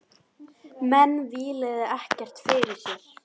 Menn víluðu ekkert fyrir sér.